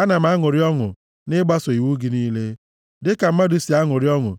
Ana m aṅụrị ọṅụ nʼịgbaso iwu gị niile dịka mmadụ si aṅụrị ọṅụ